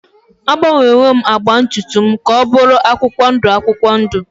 Agbanwewo m agba ntutu m ka ọ bụrụ akwụkwọ ndụ akwụkwọ ndụ.